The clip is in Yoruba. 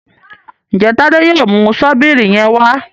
Njé Tade yóò mú Ṣọ́bìrì yén wá?